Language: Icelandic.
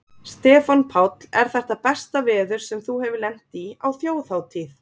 Stefán Páll: Er þetta besta veður sem þú hefur lent í á Þjóðhátíð?